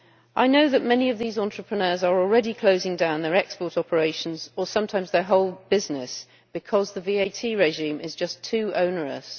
I know that many of these entrepreneurs are already closing down their export operations or sometimes their whole business because the VAT regime is just too onerous.